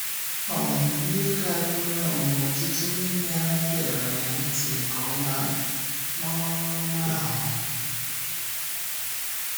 um Ihe karịrị um ọtụtụ n’ime ha gèrè ntị nke ọma n’ọrụ ọma ahụ. n’ọrụ ọma ahụ.